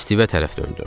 Stive tərəf döndüm.